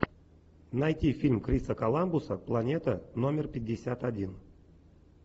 найти фильм криса коламбуса планета номер пятьдесят один